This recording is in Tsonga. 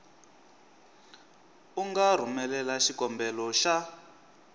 u nga rhumelela xikombelo xa